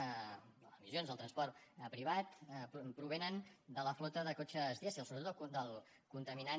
les emissions del transport privat provenen de la flota de cotxes dièsel sobretot del contaminant